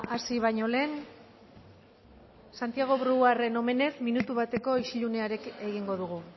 hasi baino lehen santiago brouarden omenez minutu bateko isilunea egingo dugu